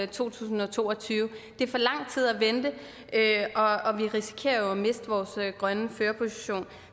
tusind og to og tyve det er for lang tid at vente og vi risikerer jo at miste vores grønne førerposition